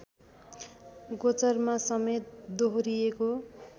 गोचरमा समेत दोहोरिएको